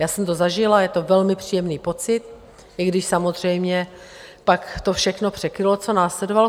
Já jsem to zažila, je to velmi příjemný pocit, i když samozřejmě pak to všechno překrylo, co následovalo.